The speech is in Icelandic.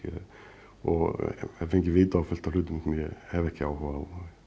og hef fengið vit á fullt af hlutum sem ég hef ekki áhuga á